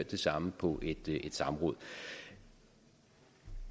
det samme på et samråd